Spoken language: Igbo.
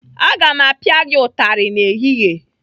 Aga m apia gị ụtarị n'ehihie!